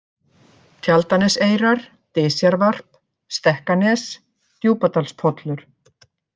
Tjaldaneseyrar, Dysjarvarp, Stekkanes, Djúpadalspollur